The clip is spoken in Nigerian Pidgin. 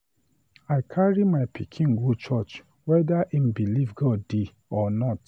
I carry my pikin go church whether im believe God dey or not.